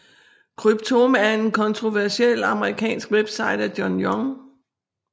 Cryptome er en kontroversiel amerikansk webside af John Young